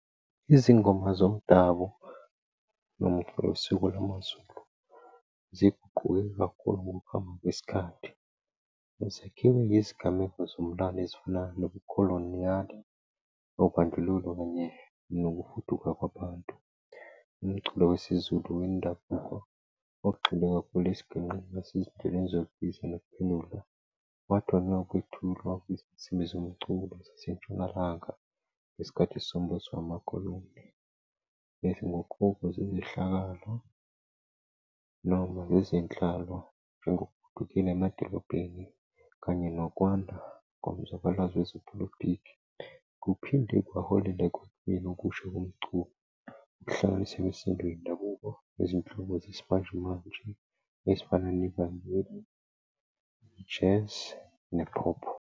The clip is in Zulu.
Izingoma zomdabu nosiko lamaZulu ziguquke kakhulu ngokuhamba kwesikhathi. Zakhiwe ngezigameko zomlando ezifana nokukholwa kobandlululo kunye nokufuduka kwabantu. Umculo wesiZulu wendabuko ogxile kakhulu esiginqeni nasezinhlelweni zokubiza nokuphendula. phathwa nawukwethulwa kwezinsimbi zomculo zasentshonalanga ngesikhathi sombuso wamakhulumbe, bese ngokhokho zezehlakalo noma ngezenhlalo njengogugile, emadolobheni kanye nokwanda komzabalazo wezepolitiki. Kuphinde kwaholela ekutakelweni okusho komculo, kuhlanganiswe imisindo yendabuko nezinhlobo zesimanjemanje ezifana nivangeli, i-Jazz ne-pop.